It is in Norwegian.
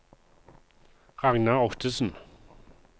Ragnar Ottesen